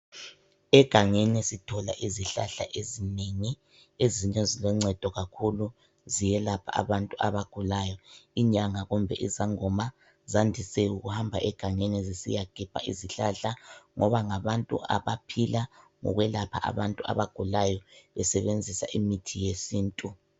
Egangeni sithola izihlahla ezinengi ezinye ziloncedo kakhulu ziyelapha abantu abagulayo, inyanga kumbe izangoma zandise ukuhamba egangeni zisiyagebha izihlahla ngoba ngabantu abaphila ngokwelapha abantu abagulayo besebenzisa imithi yesintu.